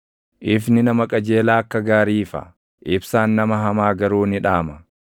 Ifni nama qajeelaa akka gaarii ifa; ibsaan nama hamaa garuu ni dhaama.